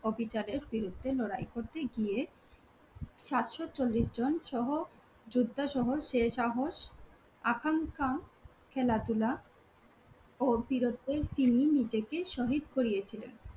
অবিচারের বিরুদ্ধে লড়াই করতে গিয়ে সাতশো চল্লিশজন সহ যোদ্ধা সহ শেরশাহ আকাঙ্খা, খেলাধুলা ও বীরত্বের চিহ্নে নিজেকে শহীদ করিয়েছিলেন